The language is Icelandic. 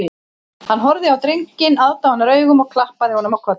Hann horfði á drenginn aðdáunaraugum og klappaði honum á kollinn